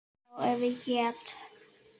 Já, ef ég get.